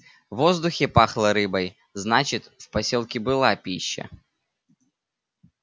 в воздухе пахло рыбой значит в посёлке была пища